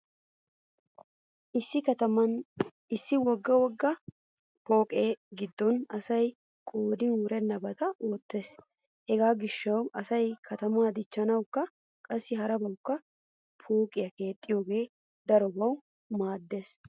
Issi kataman issi wogga wogga pooqe giddon asay qoodin wurennabaa oottees. Hegaa gishshawu asay katamaa dichchanawukka qassi harabawukka pooqiya keexxiyogee darobawu maaddees.